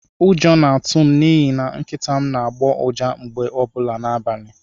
Ụjọ na-atụ m n'ihi na Nkịta m n'agbọ ụja mgbe ọbụla n'abalị.